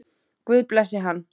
Guð blessi hann.